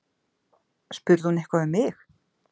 Spurði hún eitthvað um mig?